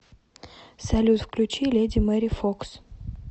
салют включи леди мэри фокс